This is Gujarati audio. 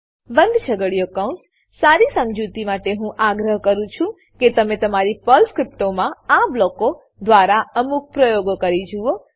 બંધ છગડીયો કૌંસ સારી સમજુતી માટે હું આગ્રહ કરું છું કે તમે તમારી પર્લ સ્ક્રીપ્ટોમાં આ બ્લોકો દ્વારા અમુક પ્રયોગો કરી જુઓ